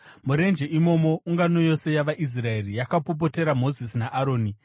Murenje imomo ungano yose yavaIsraeri yakapopotera Mozisi naAroni.